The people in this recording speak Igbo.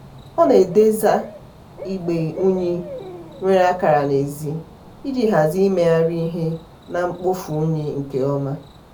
ọ na-edesa igbe unyi nwere akara n'ezi iji hazie imegharị ihe na mkpofu unyi nke ọma.